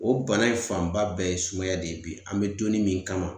O bana in fanba bɛɛ ye sumaya de ye bi. An bɛ donnin min kama